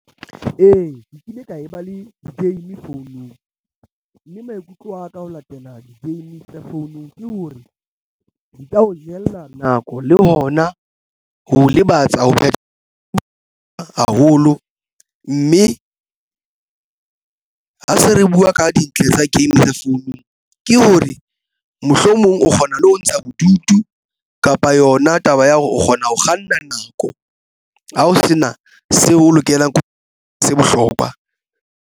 Ee, ke kile ka e ba le di-game founung, mme maikutlo aka ho latela di-game tsa founung ke hore di ka o jella nako le hona ho lebatsa hoba di haholo, mme ha se re buwa ka dintle tsa game tsa founung ke hore mohlomong o kgona le ho ntsha bodutu kapa yona taba ya hore o kgona ho kganna nako ha ho sena seo o lokelang ho se bohlokwa.